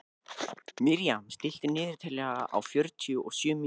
Miriam, stilltu niðurteljara á fjörutíu og sjö mínútur.